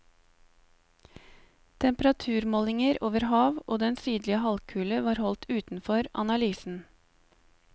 Temperaturmålinger over hav og den sydlige halvkule var holdt utenfor analysen.